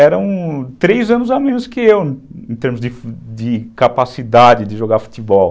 Eram três anos a menos que eu, em termos de de capacidade de jogar futebol.